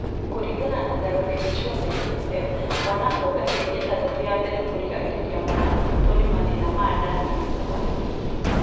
Kũringana na (WHO na UNICEF) , mwana kuonga mĩeri ĩtandatũ ya mbele kũgiragĩrĩria mwana kũnyitwo nĩ mathĩna ma nda kana kũharwo